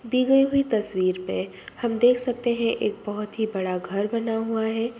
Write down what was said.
दी गई हुई तस्वीर पे हम देख सकते है एक बहुत ही बड़ा घर बना हुआ है ।